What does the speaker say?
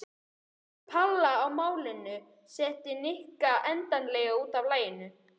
Skoðun Palla á málinu setti Nikka endanlega út af laginu.